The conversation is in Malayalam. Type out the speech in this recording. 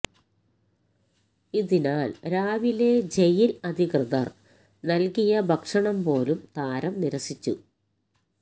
ഇതിനാല് രാവിലെ ജയില് അധികൃതര് നല്കിയ ഭക്ഷണം പോലും താരം നിരസിച്ചു